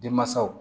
Denmansaw